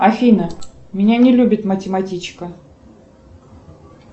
афина меня не любит математичка